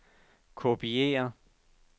kopiér